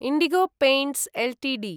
IndiGo Paints Ltd